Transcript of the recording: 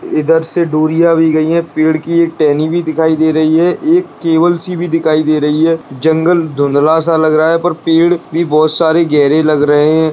इधर से डोरियाँ भी गई हैं पेड़ की एक टहनी भी दिखाई दे रही है एक केबल सी भी दिखाई दे रही है जंगल धुंधला सा लग रहा है पर पेड़ भी बहुत सारे गहरे भी लग रहे हैं।